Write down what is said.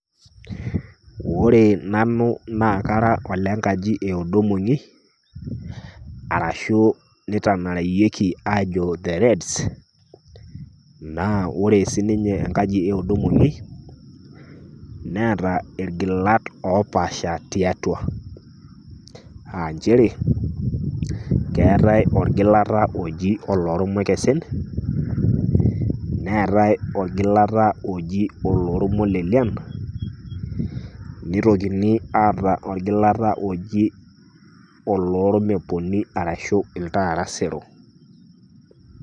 Ore nanu naa kara ole nkaji e odo mong'i arashu nitanareyieki aajo The reds, naa ore sininye enkaji e odo mong'i neeta irgilat opaasha tiatua a njere, keetai orgilata oji olormakesen neetai orgilata oji oloormolelian, nitokini ataa orgilata oji olormeponi arashu iltaatasero.